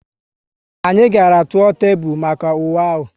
Anyị gàrà tụọ tepu maka uwe ahu